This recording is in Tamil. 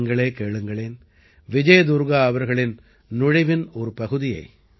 நீங்களே கேளுங்களேன் விஜய் துர்க்கா அவர்களின் நுழைவின் ஒரு பகுதியை